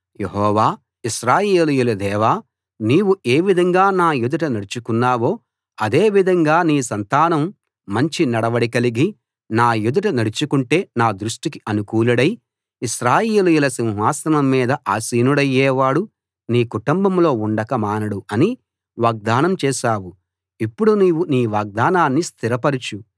యెహోవా ఇశ్రాయేలీయుల దేవా నీవు ఏవిధంగా నా ఎదుట నడుచుకున్నావో అదే విధంగా నీ సంతానం మంచి నడవడి కలిగి నా ఎదుట నడుచుకుంటే నా దృష్టికి అనుకూలుడై ఇశ్రాయేలీయుల సింహాసనం మీద ఆసీనుడయ్యేవాడు నీ కుటుంబంలో ఉండక మానడు అని వాగ్దానం చేశావు ఇప్పుడు నీవు నీ వాగ్దానాన్ని స్థిరపరచు